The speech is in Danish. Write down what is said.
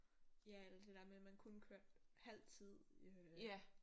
Ja eller det der med at man kun kørte halv tid øh